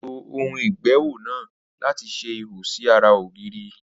Ó lo ohùn ìgbéwò náà láti ṣe ihò sí ará ògiri